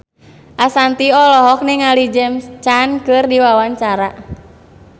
Ashanti olohok ningali James Caan keur diwawancara